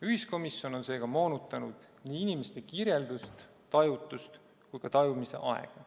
Ühiskomisjon on seega moonutanud nii inimeste kirjeldust tajutust kui ka tajumise aega.